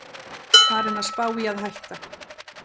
Farinn að spá í að hætta